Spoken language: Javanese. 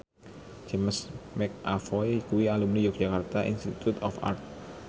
James McAvoy kuwi alumni Yogyakarta Institute of Art